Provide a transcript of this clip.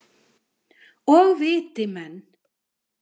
Og viti menn!